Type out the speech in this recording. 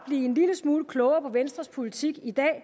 blive en lille smule klogere på venstres politik i dag